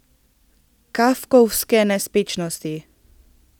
Kafkovske nespečnosti.